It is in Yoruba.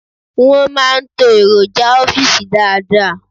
Won máa ń to èròjà ọ́fìsì dáadáa